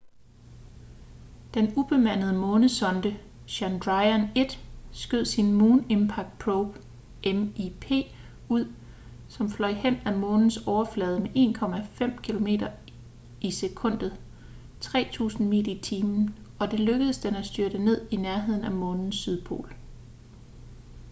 den ubemandede månesonde chandrayaan-1 skød sin moon impact probe mip ud som fløj hen ad månens overflade med 1,5 kilometer i sekundet 3000 mil i timen og det lykkedes den at styrte ned i nærheden af månens sydpol